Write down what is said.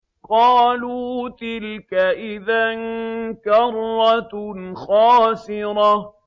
قَالُوا تِلْكَ إِذًا كَرَّةٌ خَاسِرَةٌ